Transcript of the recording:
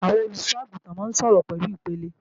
Àwọn olùṣọ́-àgùntàn máa ń sọ̀rọ̀ pẹ̀lú ìpẹ̀lẹ́